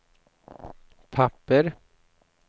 papper